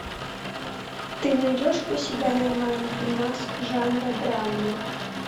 ты найдешь у себя нормальный фильмас жанра драма